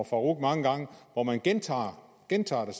farooq mange gange hvor man gentager det samme